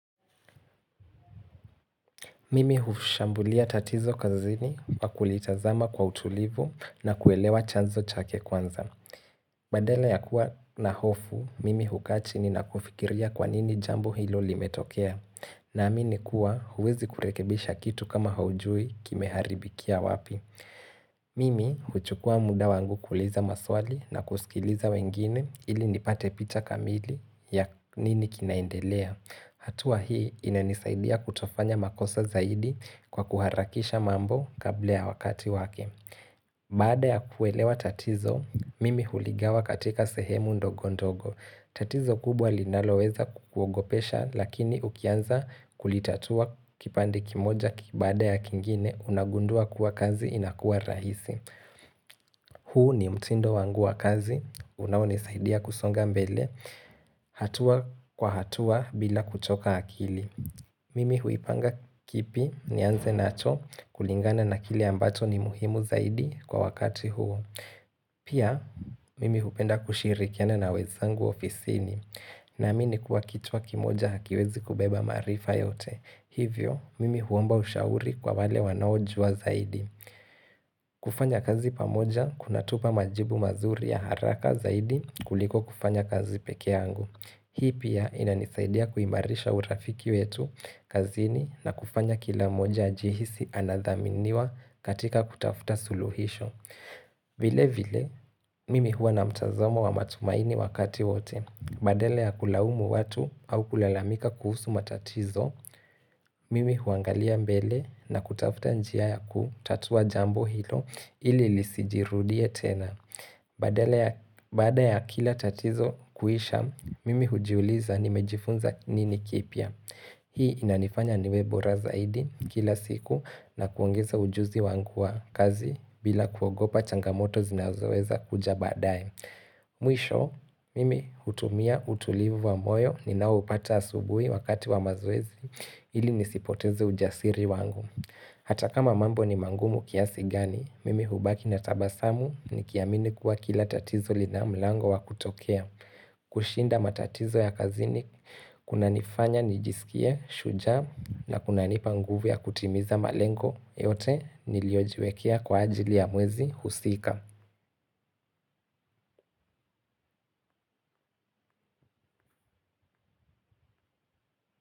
Mimi hushambulia tatizo kazini kwa kulitazama kwa utulivu na kuelewa chanzo chake kwanza. Badala ya kuwa na hofu, mimi hukaa chini na kufikiria kwa nini jambo hilo limetokea. Naamini kuwa huwezi kurekebisha kitu kama haujui kimeharibikia wapi. Mimi huchukua muda wangu kuuliza maswali na kusikiliza wengine ili nipate picha kamili ya nini kinaendelea. Hatua hii inanisaidia kutofanya makosa zaidi kwa kuharakisha mambo kabla ya wakati wake. Baada ya kuelewa tatizo, mimi huligawa katika sehemu ndogo ndogo. Tatizo kubwa linaloweza kukuogopesha lakini ukianza kulitatua kipande kimoja baada ya kingine unagundua kuwa kazi inakuwa rahisi. Huu ni mtindo wangu wa kazi. Unaonisaidia kusonga mbele hatua kwa hatua bila kuchoka akili Mimi huipanga kipi nianze nacho kulingana na kile ambacho ni muhimu zaidi kwa wakati huo Pia, mimi hupenda kushirikiana na wenzangu ofisini Naamini kuwa kichwa kimoja hakiwezi kubeba maarifa yote Hivyo, mimi huomba ushauri kwa wale wanaojua zaidi kufanya kazi pamoja, kunatupa majibu mazuri ya haraka zaidi kuliko kufanya kazi pekee yangu. Hii pia inanisaidia kuimarisha urafiki wetu kazini na kufanya kila moja ajihisi anadhaminiwa katika kutafuta suluhisho. Vile vile, mimi huwa na mtazamo wa matumaini wakati wote. Badala ya kulaumu watu au kulalamika kuhusu matatizo, mimi huangalia mbele na kutafuta njia yakutatua jambo hilo ili lisijirudie tena. Baada ya kila tatizo kuisha, mimi hujiuliza nimejifunza nini kipya. Hii inanifanya niwe bora zaidi kila siku na kuongeza ujuzi wangu wa kazi bila kuogopa changamoto zinazoweza kuja baadaye. Mwisho, mimi hutumia utulivu wa moyo ninaoupata asubuhi wakati wa mazoezi ili nisipoteze ujasiri wangu. Hata kama mambo ni magumu kiasi gani, mimi hubaki na tabasamu nikiamini kuwa kila tatizo lina mlango wa kutokea. Kushinda matatizo ya kazini, kunanifanya nijisikie, shujaa na kunanipa nguvu ya kutimiza malengo, yote niliojiwekea kwa ajili ya mwezi husika.